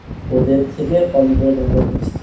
ওদের থেকে কম করে তোমাকে দিচ্ছে।